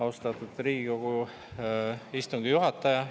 Austatud Riigikogu istungi juhataja!